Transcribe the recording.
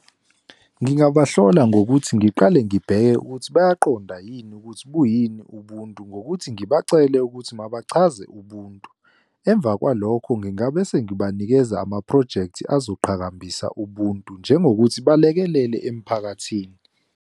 Ngingabahlola ngokuthi, ngiqale ngibheke ukuthi bayaqonda yini ukuthi buyini ubuntu, ngokuthi ngibacele ukuthi mabachaze ubuntu. Emva kwalokho ngingabe sengibanikeza amaphrojekthi azoqhakambisa ubuntu, njengokuthi balekelele emphakathini.